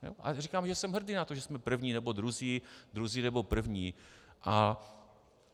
A říkám, že jsem hrdý na to, že jsme první nebo druzí, druzí nebo první.